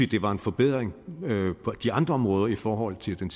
det var en forbedring på de andre områder i forhold til den